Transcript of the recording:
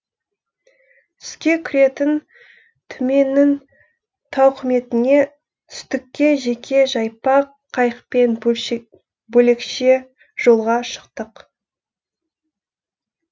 түске кіретін түменнің тауқыметіне түстікте жеке жайпақ қайықпен бөлекше жолға шықтық